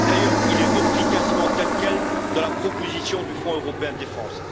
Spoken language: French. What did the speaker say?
D'ailleurs, il est repris quasiment tel quel dans la proposition du Fonds européen de défense.